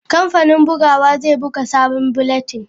Kamfanin bugawa zai buga sabon bulletin.